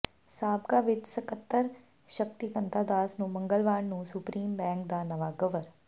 ਸਾਬਕਾ ਵਿੱਤ ਸਕੱਤਰ ਸ਼ਕਤੀਕੰਤਾ ਦਾਸ ਨੂੰ ਮੰਗਲਵਾਰ ਨੂੰ ਸੁਪਰੀਮ ਬੈਂਕ ਦਾ ਨਵਾਂ ਗਵਰ